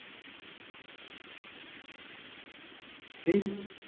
Sri